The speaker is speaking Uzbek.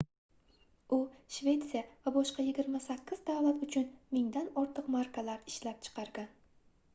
u shvetsiya va boshqa 28 davlat uchun mingdan ortiq markalar ishlab chiqargan